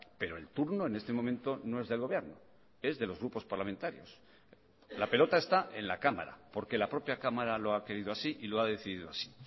pero el turno en este momento no es del gobierno es de los grupos parlamentarios la pelota está en la cámara porque la propia cámara lo ha querido así y lo ha decidido así